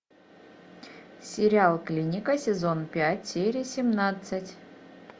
сериал клиника сезон пять серия семнадцать